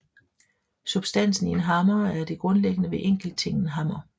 Substansen i en hammer er det grundlæggende ved enkelttingen hammer